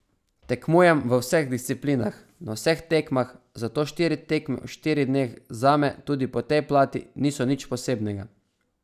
Tekmujem v vseh disciplinah, na vseh tekmah, zato štiri tekme v štirih dneh zame tudi po tej plati niso nič posebnega.